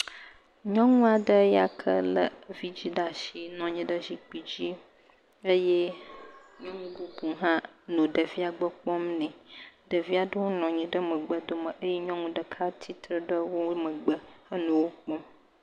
Nyɔnu aɖe ya ke lé vɛ̃dzi ɖe asi nɔ anyi ɖe zikpui dzi eye nyɔnu bubu hã nɔ ɖevia gbɔ kpɔm nɛ. Ɖevi aɖewo nɔ anyi ɖe megbe ɖome eye nyɔnu ɖeka tsitre ɖe wo megbe henɔ wo kpɔm.